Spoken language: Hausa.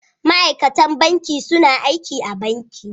Ma'aikatan banki suna aiki a banki.